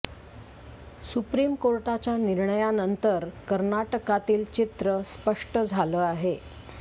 supreme कोर्टाच्या निर्णयानंतर कर्नाटकातील चित्र स्पष्ट झालं आहे